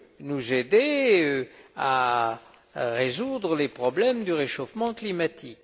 nous aider à résoudre les problèmes du réchauffement climatique.